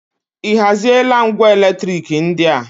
Ị haziela ngwa eletriki ndị a?